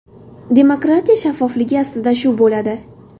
Demokratiya shaffofligi aslida shu bo‘ladi.